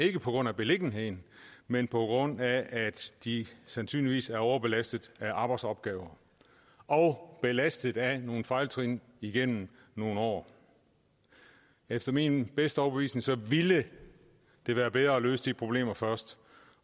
ikke på grund af beliggenheden men på grund af at de sandsynligvis er overbelastet af arbejdsopgaver og belastet af nogle fejltrin igennem nogle år efter min bedste overbevisning ville det være bedre at løse de problemer først